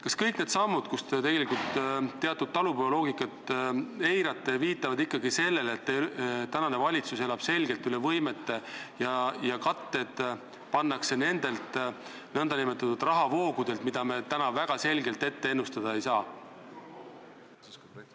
Kas kõik need sammud, mida tehes te tegelikult teatud talupojaloogikat eirate, ei viita ikkagi sellele, et valitsus elab selgelt üle võimete ja katetena nähakse neid rahavoogusid, mida me täna väga selgelt ette ennustada ei saa?